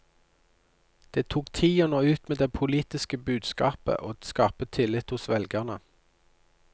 Det tok tid å nå ut med det politiske budskapet og skape tillit hos velgerne.